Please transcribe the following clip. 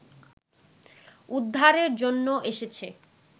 উদ্ধারের জন্য এসছে